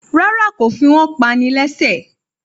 Rárá, kò fi wọ́n pani lẹ́ṣẹ̀ẹ́.